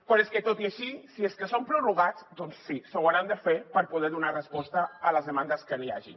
però és que tot i així si és que són prorrogats doncs sí ho hauran de fer per poder donar resposta a les demandes que hi hagin